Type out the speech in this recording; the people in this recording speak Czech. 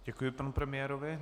Děkuji panu premiérovi.